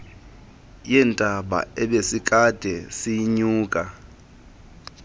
yentaba ebesikade siyinyuka